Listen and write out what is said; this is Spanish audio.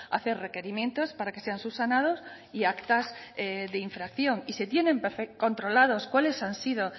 hacer requerimientos para que sean subsanados y actas de infracción y se tienen controlados cuales han sido